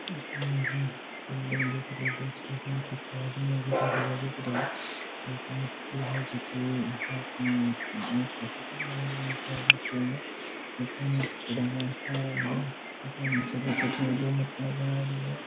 बिल्डिंग दिख री है कुछ आदमी है एक मूर्ति है जेकी एक हाथ ऊपर किया है एक हाथ नीचे है पानी में कुछ पड़ा है दो मूर्तियां और बनायेड़ी है।